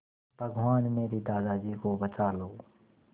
भगवान मेरे दादाजी को बचा लो